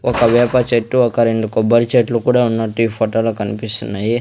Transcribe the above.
ఒక వేప చెట్టు ఒక రెండు కొబ్బరి చెట్లు కూడా ఉన్నట్టు ఈ ఫోటోలో కన్పిస్తున్నాయి.